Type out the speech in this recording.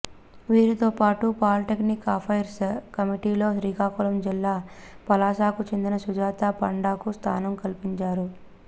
వీరితోపాటు political affairs కమిటీలో శ్రీకాకుళం జిల్లా పలాసకు చెందిన సుజాత పాండాకు స్థానం కల్పించారు